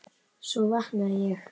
Svo vaknaði ég.